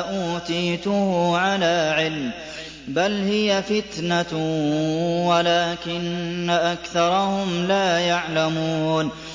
أُوتِيتُهُ عَلَىٰ عِلْمٍ ۚ بَلْ هِيَ فِتْنَةٌ وَلَٰكِنَّ أَكْثَرَهُمْ لَا يَعْلَمُونَ